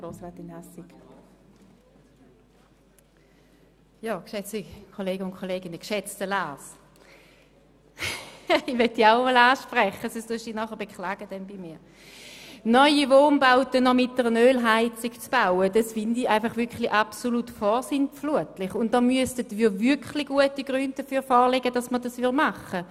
Geschätzter Lars Guggisberg, es ist wirklich absolut vorsintflutlich, Neubauten mit Ölheizung zu bauen, und es müssten wirklich gute Gründe dafür vorliegen, um diesen Antrag anzunehmen.